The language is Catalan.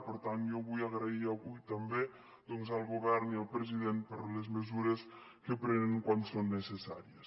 per tant jo vull agrair avui també doncs al govern i al president les mesures que prenen quan són necessàries